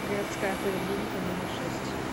городская поликлиника номер шесть